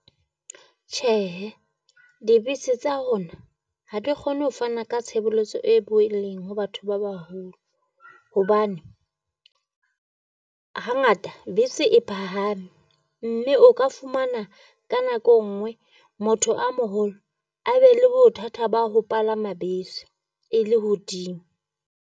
Tjhehe, dibese tsa rona ha di kgone ho fana ka tshebeletso e boeleng ho batho ba baholo, hobane hangata bese e phahame. Mme o ka fumana ka nako e nngwe motho a moholo a be le bothata ba ho palama bese e le hodimo.